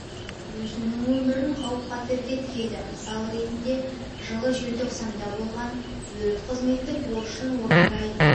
өзінің өмірін қауіп қатерге тігеді мысал ретінде жылы желтоқсанда болған өрт қызметтік борышын орындай